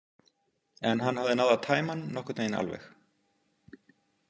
En hann hafði náð að tæma hann nokkurn veginn alveg.